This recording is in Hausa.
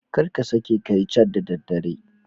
Kar ka sake ka yi cat da daddare.